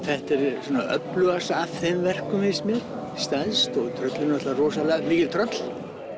þetta er öflugast af þeim verkum finnst mér stærst tröllin eru rosalega mikil tröll